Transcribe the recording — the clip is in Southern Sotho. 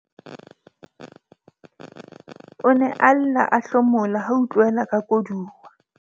O ne a lla a hlomola ha a utlwela ka koduwa.